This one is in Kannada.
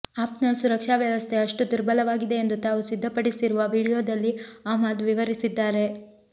ಆಪ್ನ ಸುರಕ್ಷಾ ವ್ಯವಸ್ಥೆ ಅಷ್ಟು ದುರ್ಬಲವಾಗಿದೆ ಎಂದು ತಾವು ಸಿದ್ಧಪಡಿಸಿರುವ ವಿಡಿಯೋದಲ್ಲಿ ಅಹ್ಮದ್ ವಿವರಿಸಿದ್ದಾರೆ